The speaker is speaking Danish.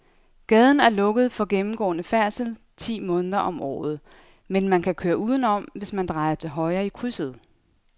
Gaden er lukket for gennemgående færdsel ti måneder om året, men man kan køre udenom, hvis man drejer til højre i krydset.